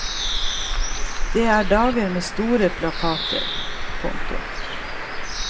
Det er dager med store plakater. punktum